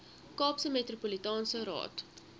kaapse metropolitaanse raad